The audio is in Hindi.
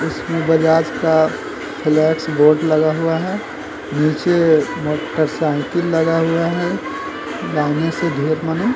इसमें बजाज का फ्लेक्स बोर्ड लगा हुआ है। नीचे मोटर साइकिल लगा हुआ है। मने --